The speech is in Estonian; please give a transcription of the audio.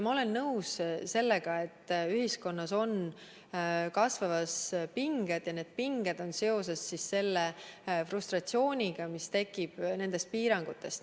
Ma olen nõus sellega, et ühiskonnas on kasvamas pinged ja need pinged on seoses selle frustratsiooniga, mis tekib nendest piirangutest.